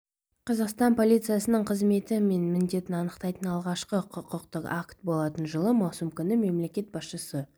қазақстан полициясының қызметі мен міндетін анықтайтын алғашқы құқықтық акт болатын жылы маусым күні мемлекет басшысы